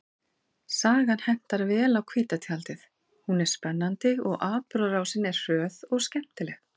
Sagan hentar vel á hvíta tjaldið, hún er spennandi og atburðarásin er hröð og skemmtileg.